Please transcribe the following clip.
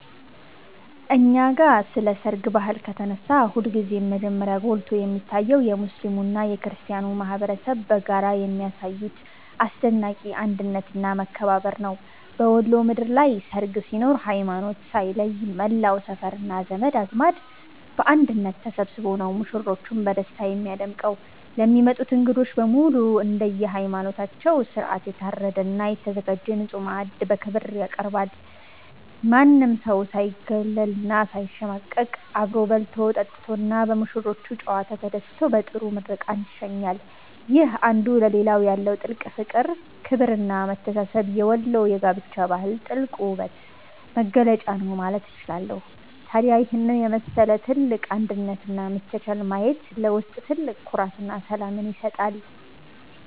እኛ ጋ ስለ ሰርግ ባህል ከተነሳ ሁልጊዜም መጀመሪያ ጎልቶ የሚታየው የሙስሊሙና የክርስቲያኑ ማኅበረሰብ በጋራ የሚያሳዩት አስደናቂ አንድነትና መከባበር ነው። በወሎ ምድር ላይ ሰርግ ሲኖር ሃይማኖት ሳይለይ መላው ሰፈርና ዘመድ አዝማድ በአንድነት ተሰብስቦ ነው ሙሽሮችን በደስታ የሚያደምቀው። ለሚመጡት እንግዶች በሙሉ እንደየሃይማኖታቸው ሥርዓት የታረደና የተዘጋጀ ንጹሕ ማዕድ በክብር ይቀርባል። ማንም ሰው ሳይገለልና ሳይሸማቀቅ አብሮ በልቶ፣ ጠጥቶና በሙሽሮቹ ጨዋታ ተደስቶ በጥሩ ምርቃት ይሸኛል። ይህ አንዱ ለሌላው ያለው ጥልቅ ፍቅር፣ ክብርና መተሳሰብ የወሎ የጋብቻ ባህል ትልቁ ውበትና መገለጫ ነው ማለት እችላለሁ። ታዲያ ይህንን የመሰለ ትልቅ አንድነትና መቻቻል ማየት ለውስጥ ትልቅ ኩራትና ሰላምን ይሰጣል።